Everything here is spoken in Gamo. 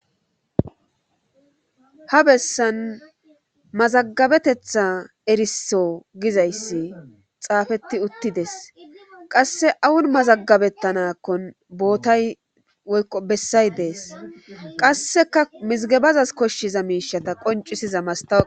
ha bessan mazagabetetha erisso gizayssi xaafetti uttides qasse awun mazagabettanakkon bootay woykko bessay dees qasseka mizigebazas koshshiza miishata qoncisiza mastawo